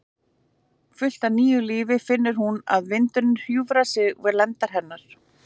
Full af nýju lífi finnur hún að vindurinn hjúfrar sig við lendar hennar.